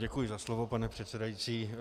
Duji za slovo, pane předsedající.